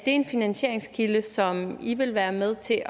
en finansieringskilde som i vil være med til